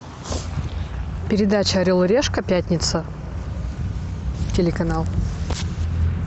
передача орел и решка пятница телеканал